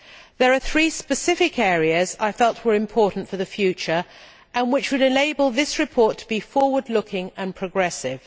There are three specific areas I felt were important for the future and which would enable this report to be forward looking and progressive.